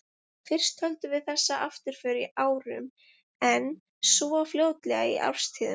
Fyrst töldum við þessa afturför í árum, en svo fljótlega í árstíðum.